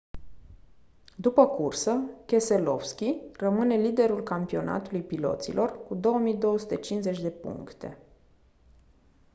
după cursă keselowski rămâne liderul campionatului piloților cu 2250 de puncte